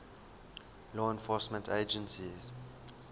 law enforcement agencies